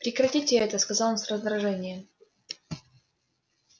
прекратите это сказал он с раздражением